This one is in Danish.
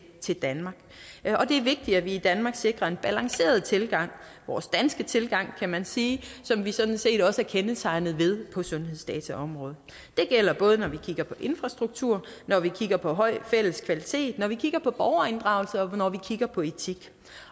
til danmark og det er vigtigt at vi i danmark sikrer en balanceret tilgang vores danske tilgang kan man sige som vi sådan set også er kendetegnet ved på sundhedsdataområdet det gælder både når vi kigger på infrastruktur når vi kigger på høj fælles kvalitet når vi kigger på borgerinddragelse og når vi kigger på etik